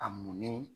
A munnin